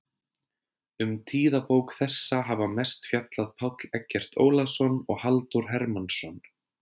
Um tíðabók þessa hafa mest fjallað Páll Eggert Ólason og Halldór Hermannsson.